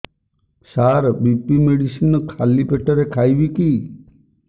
ସାର BP medicine ଖାଲି ପେଟରେ ଖାଇବି କି